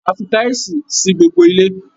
A fi tísìì sí gbogbo ilé.